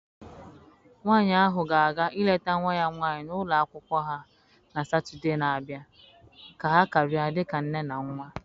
Nwanyị ahụ ga-aga ileta nwa ya nwanyị n'ụlọ akwụkwọ ha na Satọdee na-abịa ka ha karịa dịka nne na nwa.